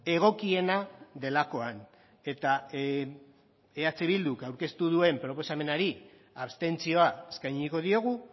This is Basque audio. egokiena delakoan eta eh bilduk aurkeztu duen proposamenari abstentzioa eskainiko diogu